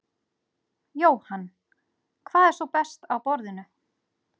Jóhann: Hvað er svo best á borðinu?